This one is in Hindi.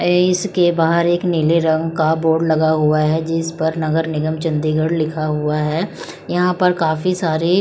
ए इसके बाहर एक नीले रंग का बोर्ड लगा हुआ है जिस पर नगर निगम चंडीगढ़ लिखा हुआ है यहां पर काफी सारे--